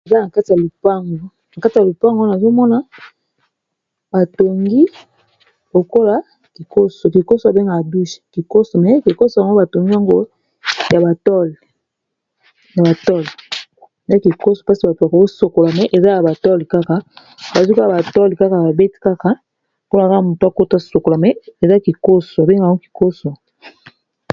Eza na kati ya lupango, wana nazomona batongi lokola kikoso, kikoso eza oyo ba bengaka douche, kikoso yango batongi yango na batole, esika ya kosokola, kasi ba bengeka yango kikoso.